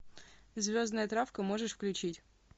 звездная травка можешь включить